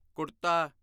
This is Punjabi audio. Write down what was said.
ਕੁੜਤਾ